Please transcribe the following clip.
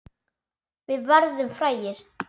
Við verðum frægir.